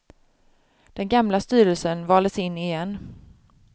Den gamla styrelsen valdes in igen.